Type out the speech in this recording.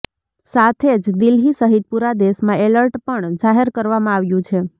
સાથે જ દિલ્હી સહિત પુરા દેશમાં એલર્ટ પણ જાહેર કરવામાં આવ્યું છે